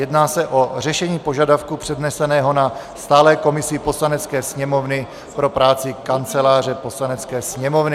Jedná se o řešení požadavku předneseného na stálé komisi Poslanecké sněmovny pro práci Kanceláře Poslanecké sněmovny.